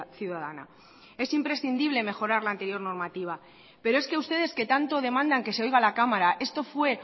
ciudadana es imprescindible mejorar la anterior normativa pero es que ustedes que tanto demandan que se oiga la cámara esto fue